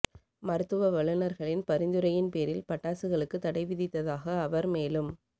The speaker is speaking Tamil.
மருத்துவ வல்லுநர்களின் பரிந்துரையின் பேரில் பட்டாசுகளுக்கு தடை விதித்ததாக அவர் மேலும்